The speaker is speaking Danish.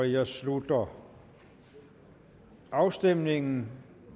jeg slutter afstemningen